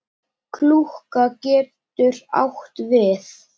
Klúka getur átt við